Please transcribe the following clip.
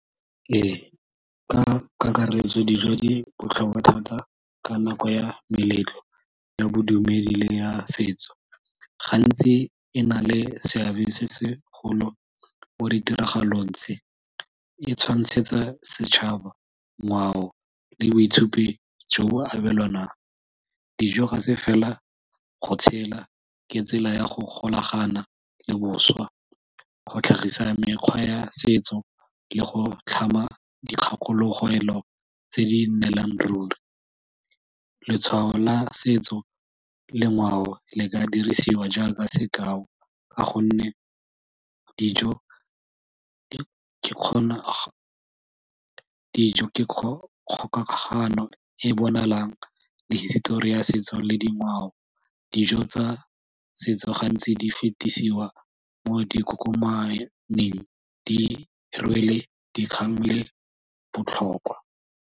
Ee, ka kakaretso dijo di botlhokwa thata ka nako ya meletlo ya bodumedi le ya setso, gantsi e na le seabe se segolo mo ditiragalong tse, e tshwantshetsa setšhaba ngwao le boitshupi jo bo abelwanang. Dijo ga se fela go tshela, ke tsela ya go golagana le boswa go tlhagisa mekgwa ya setso le go tlhama dikgakologelo tse di nnelang ruri. Letshwao la setso le ngwao le ka dirisiwa jaaka sekao ka gonne dijo di kgona kgokagano e bonalang le hisitori ya setso le dingwao. Dijo tsa setso gantsi di fetesiwa mo dikokomaneng di rwele dikgang le botlhokwa.